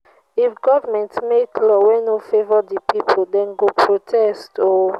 if government make law wey no favour de pipo dem go protest oo